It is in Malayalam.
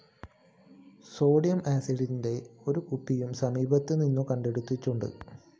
സോഡിയം ആസിഡിന്റെ ഒരു കുപ്പിയും സമീപത്ത് നിന്നും കണ്ടെത്തിയിട്ടുണ്ട്